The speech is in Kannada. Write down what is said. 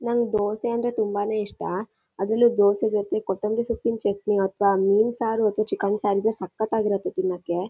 ನಂಗೆ ದೋಸೆ ಅಂದ್ರೆ ತುಂಬಾನೆ ಇಷ್ಟ ಅದ್ರಲ್ಲು ದೋಸೆ ಜೊತೆ ಕೊತುಂಬರಿ ಸೊಪ್ಪಿನ್ ಚಟ್ನಿ ಅಥವಾ ಮೀನ್ ಸರ್ ಅಥವಾ ಚಿಕನ್ ಸಾರ್ ಇದ್ರೆ ತುಂಬ ಸಕ್ಕತಾಗಿರುತ್ತೆ ತಿನ್ನೋಕೆ.